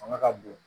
Fanga ka bon